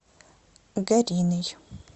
гариной